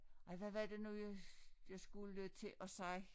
Ej hvad var det nu jeg jeg skulle til at sige